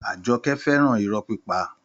Àjọkẹ́ fẹ́ràn irọ́ pípa